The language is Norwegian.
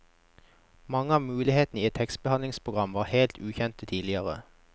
Mange av mulighetene i et tekstbehandlingsprogram var helt ukjent tidligere.